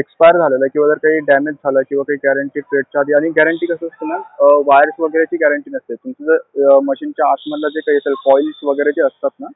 expire झालंय किंवा damage झालं किंवा काही guarrenty period च्या आधी आणि guarrenty च कसं असतं ma'am, wires वगैरेची guarrenty नसते. तुमची जर machine च्या आतमध्ये जे काही coils वगैरे जे असतात ना,